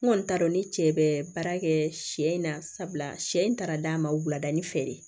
N kɔni t'a dɔn ni cɛ bɛ baara kɛ sɛ in na sabula sɛ in taara d'a ma wulada ni fɛɛrɛ ye